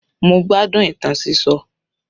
Mo gbádùn ìtàn sísọ.